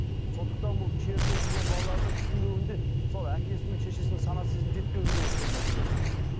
сондықтан бұл шермен жүрген балаларды түсінбеуінде сол әкесі мен шешесінің сана сезімі жетпеуінде болып тұр мәселе